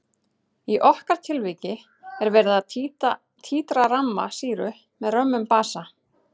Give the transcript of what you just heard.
Í okkar tilviki er verið að títra ramma sýru með römmum basa.